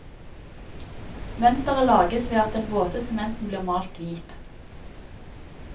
Mønsteret lages ved at den våte sementen blir malt hvit.